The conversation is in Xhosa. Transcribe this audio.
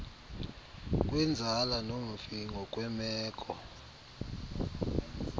kwenzala nomfi ngokwemeko